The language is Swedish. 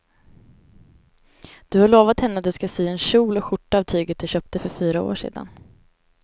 Du har lovat henne att du ska sy en kjol och skjorta av tyget du köpte för fyra år sedan.